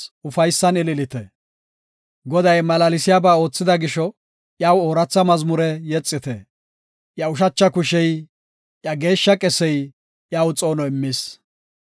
Goday malaalsiyaba oothida gisho, iyaw ooratha mazmure yexite. Iya ushacha kushey, iya geeshsha qesey iyaw xoono immis.